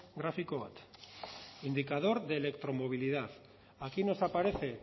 grafiko bat indicador de electromovilidad aquí nos aparece